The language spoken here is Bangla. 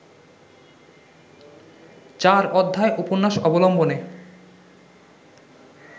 চার অধ্যায় উপন্যাস অবলম্বনে